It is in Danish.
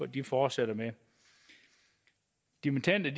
de fortsætter med dimittender